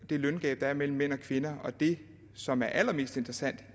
det løngab der er mellem mænd og kvinder og det som er allermest interessant